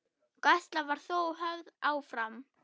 Gæsla var þó höfð áfram.